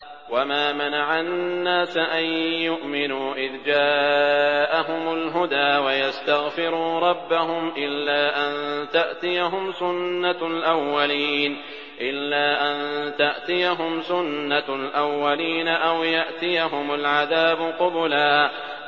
وَمَا مَنَعَ النَّاسَ أَن يُؤْمِنُوا إِذْ جَاءَهُمُ الْهُدَىٰ وَيَسْتَغْفِرُوا رَبَّهُمْ إِلَّا أَن تَأْتِيَهُمْ سُنَّةُ الْأَوَّلِينَ أَوْ يَأْتِيَهُمُ الْعَذَابُ قُبُلًا